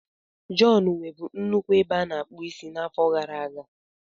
John nwebu nnukwu ebe a na-akpụ isi n'afọ gara aga.